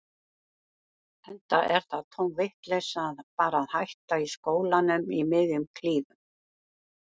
Enda er það tóm vitleysa að fara að hætta í skólanum í miðjum klíðum.